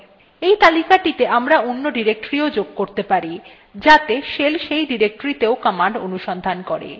we তালিকাটিতে আমরা অন্য directory ও যোগ করতে পারি যাতে shell সেই directoryতেও কমান্ড অনুসন্ধান করে